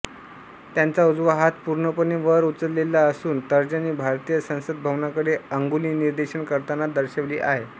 त्यांचा उजवा हात पूर्णपणे वर उचललेला असून तर्जनी भारतीय संसद भवनाकडे अंगुलिनिर्देशन करताना दर्शवले आहे